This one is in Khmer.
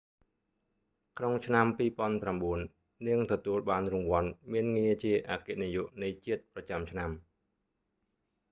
ក្នុងឆ្នាំ 2009 នាងទទួលបានរង្វាន់មានងារជាអគ្គនាយកនៃជាតិប្រចាំឆ្នាំ